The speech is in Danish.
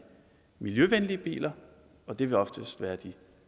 miljøvenlige biler og det vil oftest være de